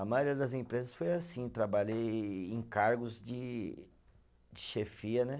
A maioria das empresas foi assim, trabalhei em cargos de chefia, né?